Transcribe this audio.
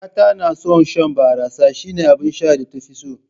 Kakata na son shan barassa, shine abin sha da ta fi so